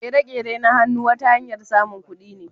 Kere-keren na hannu wata hanyar samun kudi ne.